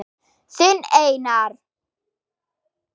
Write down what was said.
Þinn Einar.